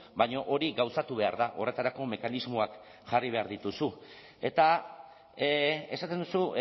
baina hori gauzatu behar da horretarako mekanismoak jarri behar dituzu eta esaten duzu